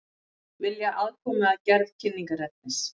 Vilja aðkomu að gerð kynningarefnis